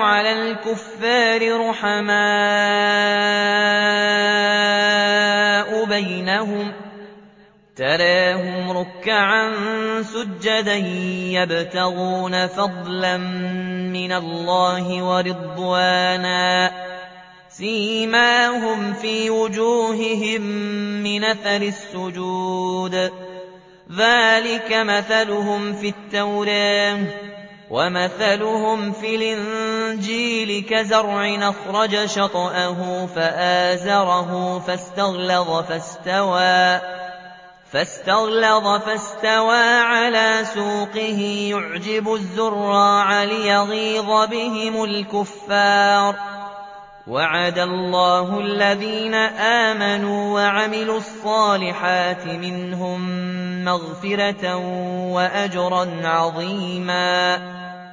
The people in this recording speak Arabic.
عَلَى الْكُفَّارِ رُحَمَاءُ بَيْنَهُمْ ۖ تَرَاهُمْ رُكَّعًا سُجَّدًا يَبْتَغُونَ فَضْلًا مِّنَ اللَّهِ وَرِضْوَانًا ۖ سِيمَاهُمْ فِي وُجُوهِهِم مِّنْ أَثَرِ السُّجُودِ ۚ ذَٰلِكَ مَثَلُهُمْ فِي التَّوْرَاةِ ۚ وَمَثَلُهُمْ فِي الْإِنجِيلِ كَزَرْعٍ أَخْرَجَ شَطْأَهُ فَآزَرَهُ فَاسْتَغْلَظَ فَاسْتَوَىٰ عَلَىٰ سُوقِهِ يُعْجِبُ الزُّرَّاعَ لِيَغِيظَ بِهِمُ الْكُفَّارَ ۗ وَعَدَ اللَّهُ الَّذِينَ آمَنُوا وَعَمِلُوا الصَّالِحَاتِ مِنْهُم مَّغْفِرَةً وَأَجْرًا عَظِيمًا